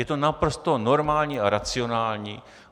Je to naprosto normální a racionální.